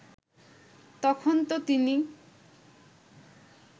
তখন তো তিনি